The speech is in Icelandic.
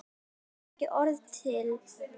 Það þurfti ekki orð til.